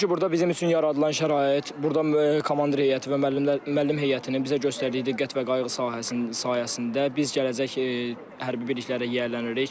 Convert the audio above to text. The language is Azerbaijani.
Çünki burada bizim üçün yaradılan şərait, burda komandir heyəti və müəllim müəllim heyətinin bizə göstərdiyi diqqət və qayğı sahəsindən sayəsində biz gələcək hərbi birliklərə yiyələnirik.